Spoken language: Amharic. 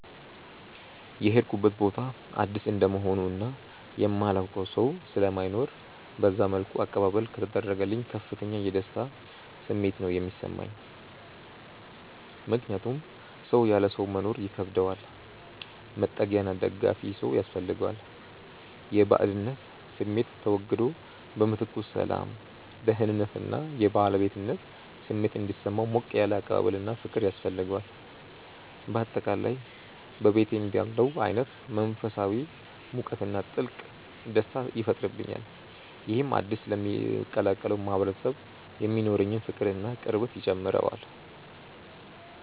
የሄድኩበት ቦታ አዲስ እንደመሆኑ እና የማላውቀው ሰው ስለማይኖር በዛ መልኩ አቀባበል ከተደረገልኝ ከፍተኛ የደስታ ስሜት ነው የሚሰማኝ። ምክንያቱም ሰው ያለ ሰው መኖር ይከብደዋል፤ መጠጊያና ደጋፊ ሰው ያስፈልገዋል። የባዕድነት ስሜቱ ተወግዶ በምትኩ ሰላም፣ ደህንነት እና የባለቤትነት ስሜት እንዲሰማው ሞቅ ያለ አቀባበልና ፍቅር ያስፈልገዋል። በአጠቃላይ በቤቴ እንዳለሁ አይነት መንፈሳዊ ሙቀትና ጥልቅ ደስታ ይፈጥርብኛል። ይህም አዲስ ለምቀላቀለው ማህበረሰብ የሚኖረኝን ፍቅርና ቅርበት ይጨምረዋል።